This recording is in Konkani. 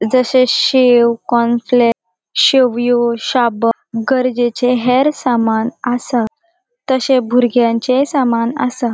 जशे शेव कॉम्प्लेक् शेवियों सबु गरजेचे हेयर सामान असा ताशे बुरगयांचे सामान असा.